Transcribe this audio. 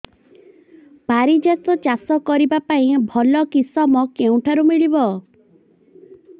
ପାରିଜାତ ଚାଷ କରିବା ପାଇଁ ଭଲ କିଶମ କେଉଁଠାରୁ ମିଳିବ